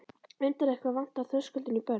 Undarlegt hvað vantar þröskuldinn í börn.